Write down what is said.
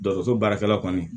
Dɔgɔtɔrɔso baarakɛla kɔni